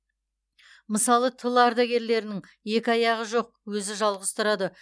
мысалы тыл ардагерлерінің екі аяғы жоқ өзі жалғыз тұрады